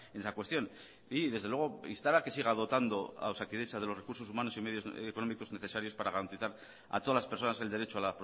esa cuestión y desde luego instar a que siga dotando a osakidetza de los recursos humanos y medios económicos necesarios para garantizar a todas las personas el derecho a